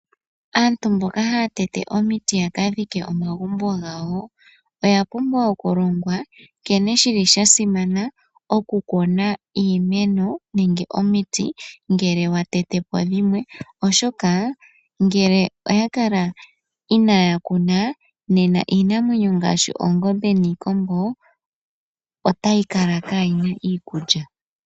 Aantu mboka haya tete omiti ya ka dhike omagumbo gawo oya pumbwa oku longwa nkene shili sha simana oku kuna omiti nenge iimeno ngele wa tete po dhimwe, oshoka ngele owa kala inaaya kuna nena iinamwenyo ngaashi oongombe niikombo otayi kala kaayina iikulya.